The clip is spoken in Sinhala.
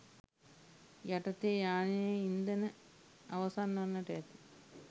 යටතේ යානයේ ඉන්ධන අවසන් වන්නට ඇති